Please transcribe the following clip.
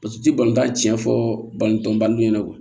Paseke u ti balontan tiɲɛ fɔ balontan baden ɲɛna